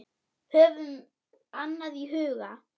Höfum annað í huga.